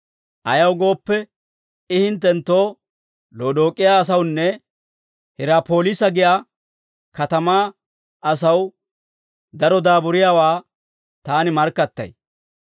Ayaw gooppe, I hinttenttoo, Lodook'iyaa asawunne Hirapoliisa giyaa katamaa asaw daro daaburiyaawaa taani markkattay.